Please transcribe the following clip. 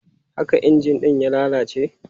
Haka injin ɗin ya lalace?